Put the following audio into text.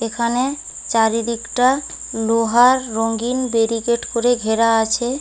এখানে চারদিকটা লোহার রঙ্গিন বেরিকেড করে ঘেরা আছে।